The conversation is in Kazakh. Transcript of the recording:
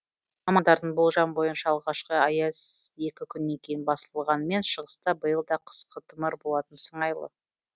мамандардың болжамы бойынша алғашқы аяз екі күннен кейін басылғанымен шығыста биыл да қыс қытымыр болатын сыңайлы